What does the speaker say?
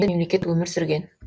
мемлекет өмір сүрген